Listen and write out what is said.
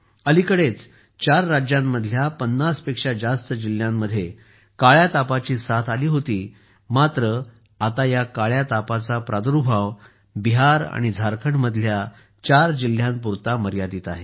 अलीकडेच 4 राज्यांमधल्या 50 पेक्षा जास्त जिल्ह्यांमध्ये काळ्या तापाची साथ आली होती मात्र आता या काळ्या तापाचा प्रादुर्भाव बिहार आणि झारखंडमधल्या 4 जिल्ह्यांपुरता मर्यादित आहे